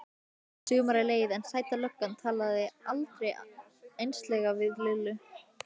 Sumarið leið en Sæta löggan talaði aldrei einslega við Lillu.